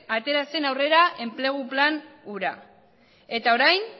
atera zen aurrera enplegu plan hura eta orain